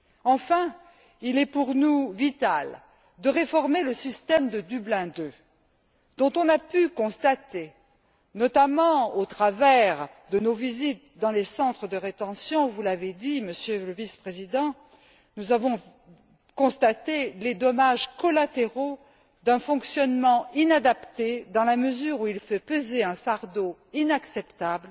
Enfin, il est pour nous vital de réformer le système de Dublin II, dont on a pu constater, notamment au travers de nos visites dans les centres de rétention vous l'avez dit, Monsieur le Vice Président les dommages collatéraux d'un fonctionnement inadapté, dans la mesure où il fait peser un fardeau inacceptable